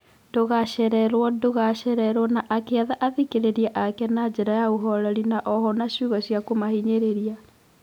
Ndũgachererwo ndũgachererwo na akiatha athikĩrĩria ake na njira ya ũhoreri no oho na ciugo cia kũmahinyĩrĩria.